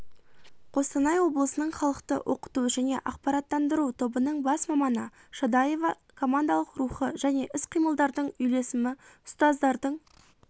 қостанай облысының халықты оқыту және ақпараттандыру тобының бас маманы шадаева командалық рухы және іс-қимылдардың үйлесімі ұстаздардың